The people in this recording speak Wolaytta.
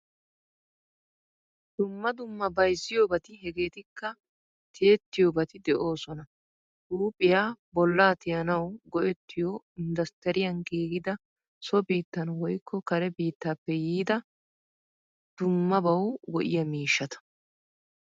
Dumma dumma bayzziyobati hegettikka tiyettiyobati de'osona. Huuphphiyaa, bolla tiyanawu go'ettiyo industtiriyan giigida so biittan woykko kare biittappe yiida dummabawu go'iya miishshata.